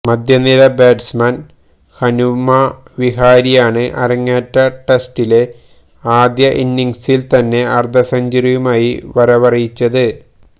മധ്യനിര ബാറ്റ്സ്മാന് ഹനുമാ വിഹാരിയാണ് അരങ്ങേറ്റ ടെസ്റ്റിലെ ആദ്യ ഇന്നിങ്സില് തന്നെ അര്ധസെഞ്ച്വറിയുമായി വരവറിയിച്ചത്